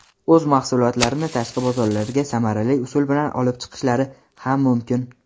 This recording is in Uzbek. o‘z mahsulotlarini tashqi bozorlarga samarali usul bilan olib chiqishlari ham mumkin.